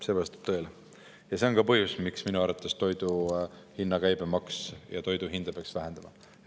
See on ka põhjus, miks minu arvates peaks toidu hinna käibemaksu ja toidu hinda vähendama.